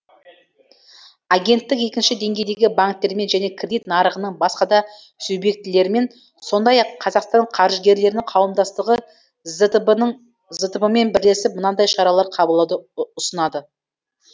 агенттік екінші деңгейдегі банктермен және кредит нарығының басқа да субъектілерімен сондай ақ қазақстан қаржыгерлерінің қауымдастығы зтб мен бірлесіп мынадай шаралар қабылдауды ұсынады